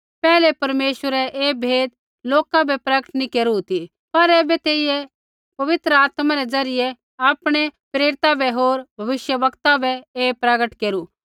पैहलै परमेश्वरै ऐ भेदा लोका बै प्रगट नैंई केरू ती पर ऐबै तेइयै पवित्र आत्मा रै ज़रियै आपणै प्रेरिता बै होर भविष्यवक्ता बै ऐ प्रगट केरू